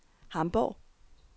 Hamborg